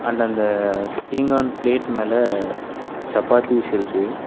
உள்ள அந்த பீங்கான் பிளேட் மேல சப்பாத்திஸ் இருக்கு.